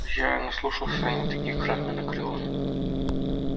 я наслушался и не таких в храме анакреона